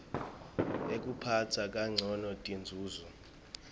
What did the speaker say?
ekuphatsa kancono tinzunzo